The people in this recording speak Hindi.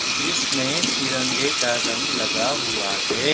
जिसमें तिरंगे का रंग लगा हुआ है।